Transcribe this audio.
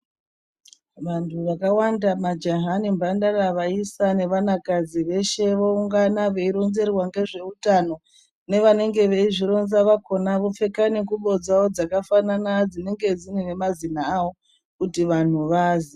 Vantu vakawanda majaha nemhandara, vaisa nevanakadzi veshe voungana veironzerwa ngezveutano. Nevanenge veizvironza vakona vopfeka nengubo dzawo dzakafanana dzinenge dzine mazina awo, kuti vanhu vazwe.